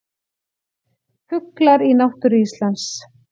Fuglar í náttúru Íslands.